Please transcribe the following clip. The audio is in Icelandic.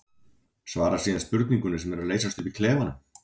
Svara síðan spurningunni sem er að leysast upp í klefanum.